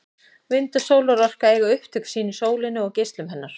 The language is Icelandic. Vind- og sólarorka eiga upptök sín í sólinni og geislum hennar.